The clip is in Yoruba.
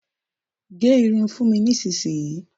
Gẹ́ irun fún mi nísìnyi!